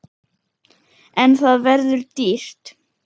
En það verður dýrt.